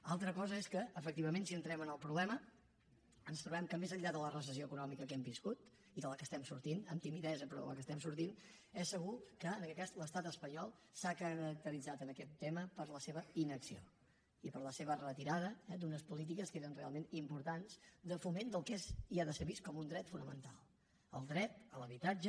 una altra cosa és que efectivament si entrem en el problema ens trobem que més enllà de la recessió econòmica que hem viscut i de la qual estem sortim amb timidesa però de la qual estem sortint és segur que en aquest cas l’estat espanyol s’ha caracteritzat en aquest tema per la seva inacció i per la seva retirada d’unes polítiques que eren realment importants de foment del que és i ha de ser vist com un dret fonamental el dret a l’habitatge